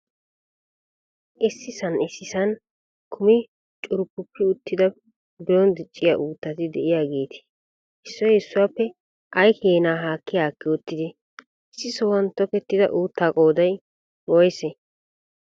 Issisan issisan kummi curppupi uttida biron dicciyaa uuttati de"iyaageeti issoy issuwaappe ay keena haakki haakki uttidee? Issi sohuwan tokettida uuttaa qooday woysee?